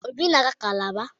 Obi na-aga kalabar.